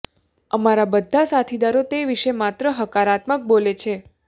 અમારા બધા સાથીદારો તે વિશે માત્ર હકારાત્મક બોલે છે